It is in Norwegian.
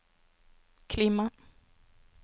klima